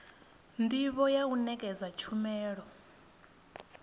ndivho ya u nekedza tshumelo